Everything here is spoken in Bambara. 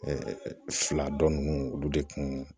fila dɔ ninnu olu de kun